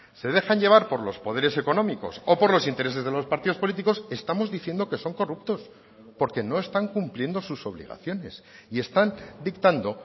se dejan llevar por los poderes económicos o por los intereses de los partidos políticos estamos diciendo que son corruptos porque no están cumpliendo sus obligaciones y están dictando